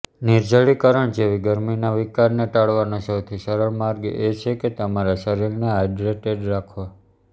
નિર્જલીકરણ જેવી ગરમીના વિકારને ટાળવાનો સૌથી સરળ માર્ગ એ છે કે તમારા શરીરને હાઇડ્રેટેડ રાખવા